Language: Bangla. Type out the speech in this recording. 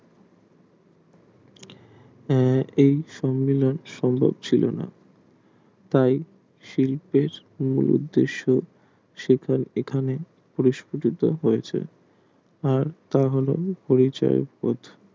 এই সমিলন সুন্দর ছিল না তাই শিল্পের উদ্দেশ সকল এখানে পরফলিত হয়েছে তা বলে পরিচয় বোধ